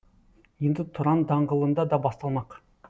енді тұран даңғылында да басталмақ